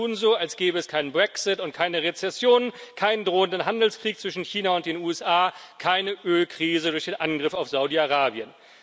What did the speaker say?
Alle tun so, als gäbe es keinen Brexit und keine Rezession, keinen drohenden Handelskrieg zwischen China und den USA, keine Ölkrise durch den Angriff auf Saudi Arabien.